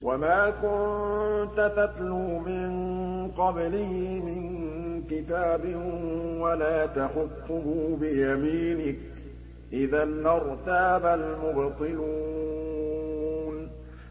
وَمَا كُنتَ تَتْلُو مِن قَبْلِهِ مِن كِتَابٍ وَلَا تَخُطُّهُ بِيَمِينِكَ ۖ إِذًا لَّارْتَابَ الْمُبْطِلُونَ